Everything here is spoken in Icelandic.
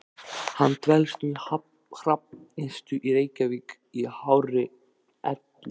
Hann dvelst nú á Hrafnistu í Reykjavík í hárri elli.